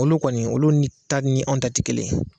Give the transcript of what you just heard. Olu kɔni olu ni ta ni anw ta ti kelen ye.